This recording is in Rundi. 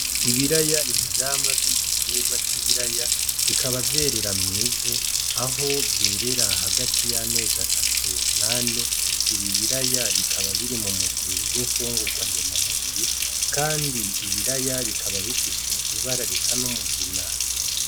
Ibiraya nivyamwa vyigitegwa cibiraya bikaba vyerera mwivu aho vyerera hagati yamazi atatu nane ibi biraya bikaba biri mumugwi wimfungurwa ndema mubiri kandi ibiraya bikaba bifise ibara risa n'umugina.